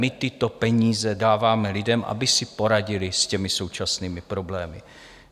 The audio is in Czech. My tyto peníze dáváme lidem, aby si poradili s těmi současnými problémy.